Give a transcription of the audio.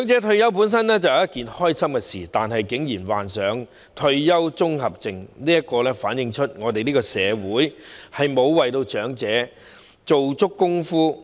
退休本是一件開心事，但是，長者竟然患上退休綜合症，反映我們的社會沒有為長者退休作充足的準備。